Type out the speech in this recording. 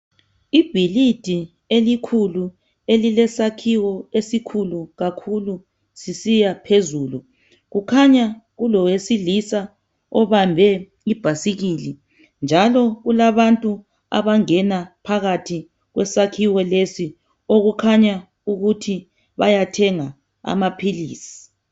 Ibhilidi elikhulu. Elilesakhiwo esikhulu kakhulu, sisiyaphezulu. Kukhanya kulowesilisa obambe ibhasikili, njalo kulabantu abangena phakathi kwesakhiwo lesi. Okukhanya ukuthi bayathenga amaphilisi.